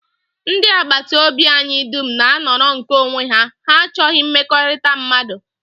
Ndị agbataobi anyị dum na-anọrọ nke onwe ha, ha achọghị mmekọrịta mmadụ